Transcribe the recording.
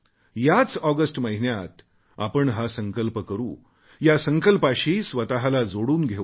याच ऑगस्ट महिन्यात आपण हा संकल्प करू या संकल्पाशी स्वतला जोडून घेऊ